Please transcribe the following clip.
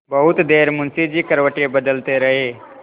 बहुत देर मुंशी जी करवटें बदलते रहे